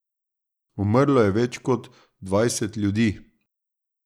Umrlo je več kot dvajset ljudi.